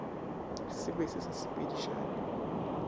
se be se sa sepedišane